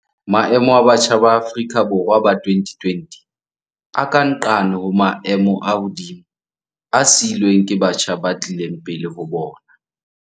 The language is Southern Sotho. Maemo a batjha ba Afrika Borwa ba 2020 a ka nqane ho maemo a hodimo a siilweng ke batjha ba tlileng pele ho bona.